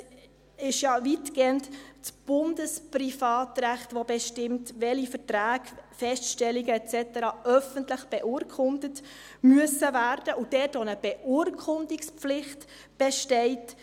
Es ist ja weitgehend das Bundesprivatrecht, das bestimmt, welche Verträge, Feststellungen et cetera öffentlich beurkundet werden müssen, und dass dort auch eine Beurkundungspflicht besteht.